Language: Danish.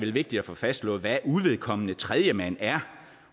er vigtigt at få fastslået hvad uvedkommende tredjemand er